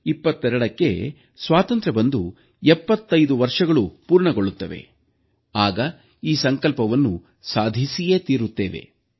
2022ಕ್ಕೆ ಸ್ವಾತಂತ್ರ್ಯ ಬಂದು 75 ವರ್ಷಗಳು ಪೂರ್ಣಗೊಳ್ಳುತ್ತವೆ ಆಗ ಈ ಸಂಕಲ್ಪವನ್ನು ಸಾಧಿಸಿಯೇ ತೀರುತ್ತೇವೆ